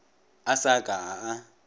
a sa ka a a